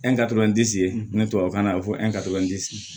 ni tubabukan na a bi fɔ